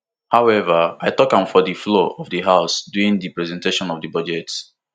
however i tok am for di floor of di house during di presentation of di budget